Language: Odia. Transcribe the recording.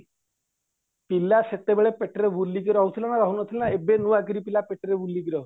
ପିଲା ସେତବେଳେ ପେଟରେ ବୁଲିକି ରହୁଥିଲେ ନା ରହୁନଥିଲେ ନା ରହୁନଥିଲେ ଏବେ ନୁଆକିରି ପେଟରେ ବୁଲିକି ରହୁଛି